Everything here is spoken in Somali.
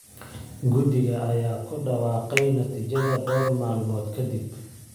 Guddiga ayaa ku dhawaaqay natiijada dhowr maalmood kadib.